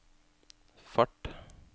fart